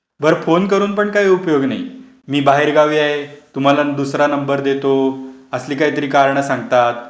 बर फोन करून पण काही उपयोग नाही. "मी बाहेरगावी आहे", "तुम्हाला दुसरा नंबर देतो", असली काहीतरी कारण सांगतात.